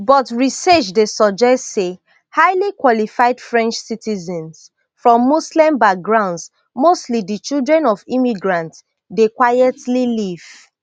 but research dey suggest say highly qualified french citizens from muslim backgrounds mostly di children of immigrants dey quietly leave